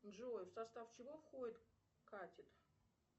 джой в состав чего входит катет